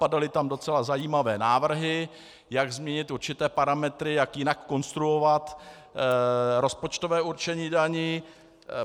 Padaly tam docela zajímavé návrhy, jak změnit určité parametry, jak jinak konstruovat rozpočtové určení daní.